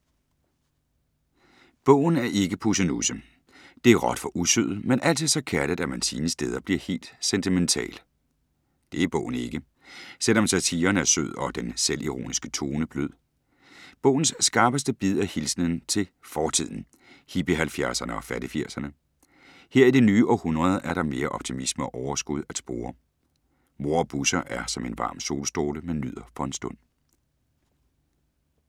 Bogen er ikke pussenusse. Det er råt for usødet, men altid så kærligt, at man sine steder bliver helt sentimental. Det er bogen ikke. Selv om satiren er sød og den selvironiske tone blød. Bogens skarpeste bid er hilsenen til fortiden; hippie-halvfjerdserne og fattigfirserne. Her i det nye århundrede er der mere optimisme og overskud at spore. Mor og Busser er som en varm solstråle, man nyder for en stund.